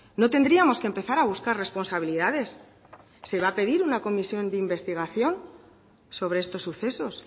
no tendríamos que empezar a buscar responsabilidades se va a pedir una comisión de investigación sobre estos sucesos